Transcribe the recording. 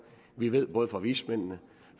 vi ved både fra vismændene